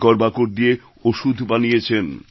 শেকড়বাকড় দিয়ে ওষুধ বানিয়েছেন